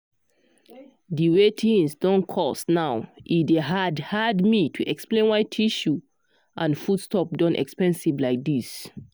the way things don cost now e dey hard hard me to explain why tissue and foodstuff don expensive like this.